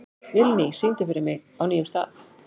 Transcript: Vilný, syngdu fyrir mig „Á nýjum stað“.